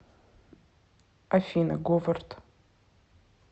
афина говард